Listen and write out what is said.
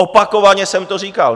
Opakovaně jsem to říkal.